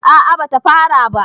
a a bata fara ba